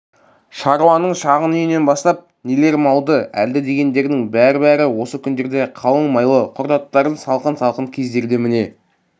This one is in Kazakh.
шаруаның шағын үйінен бастап нелер малды әлді дегендердің бәр-бәрі осы күндерде қалың майлы құр аттарын салқын-салқын кездерде міне